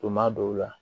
Tuma dɔw la